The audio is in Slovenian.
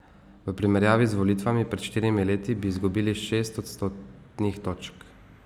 V primerjavi z volitvami pred štirimi leti bi izgubili šest odstotnih točk.